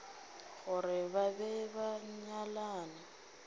gore ba be ba nyalane